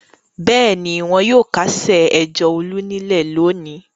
Bẹ́ẹ̀ ni, wọn yóò kásẹ̀ ẹjọ́ Olú nílẹ̀ lónìí.